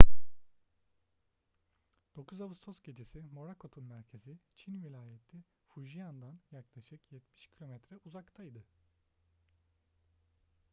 9 ağustos gecesi morakot'un merkezi çin vilayeti fujian'dan yaklaşık yetmiş kilometre uzaktaydı